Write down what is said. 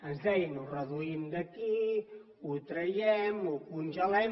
ens deien ho reduïm d’aquí ho traiem ho congelem